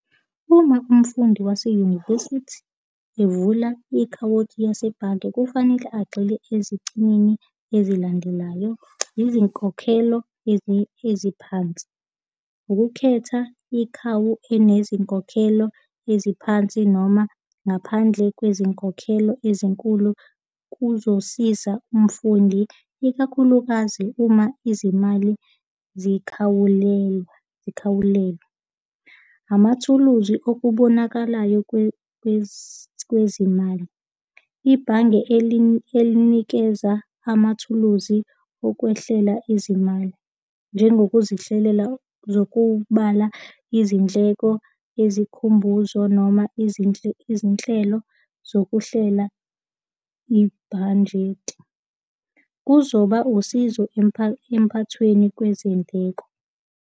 Uma umfundi wase-university evula i-akhawunti yasebhange, kufanele agxile ezicinini ezilandelayo. Izinkokhelo eziphansi, ukukhetha ikhawu enezinkokhelo eziphansi noma ngaphandle kwezinkokhelo ezinkulu kuzosiza umfundi, ikakhulukazi uma izimali zikhawuliwa, zikhawulelwe. Amathuluzi okubonakalayo kwezimali. Ibhange elinikeza amathuluzi okwehlela ezimali, njengokuzihlelela nokubala izindleko ezikhumbuzo noma izinhlelo zokuhlela ibhanjeti. Kuzoba usizo emphathweni kwezindleko.